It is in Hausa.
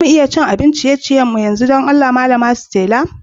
Za mu iya cin abin ciye-ciyen mu yanzu, dan Allah malama Stella?